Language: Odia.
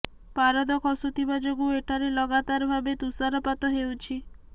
ପାରଦ ଖସୁଥିବା ଯୋଗୁଁ ଏଠାରେ ଲଗାତର ଭାବେ ତୁଷାରପାତ ହେଉଛି